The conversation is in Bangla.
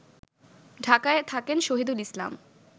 ঢাকায় থাকেন শহীদুল ইসলাম